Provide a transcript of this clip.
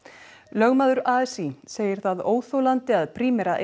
lögmaður a s í segir það ólíðandi að Primera